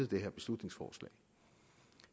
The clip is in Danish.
det her beslutningsforslag